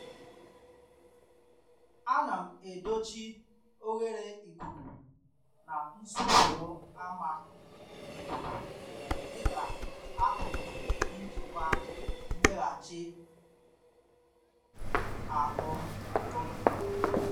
A nam edochi oghere ikuku na nsufuo ama Ikuku dịka akụkụ njikwa mmeghachi ahụ oge.